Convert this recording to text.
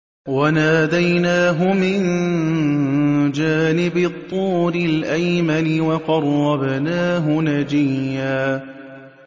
وَنَادَيْنَاهُ مِن جَانِبِ الطُّورِ الْأَيْمَنِ وَقَرَّبْنَاهُ نَجِيًّا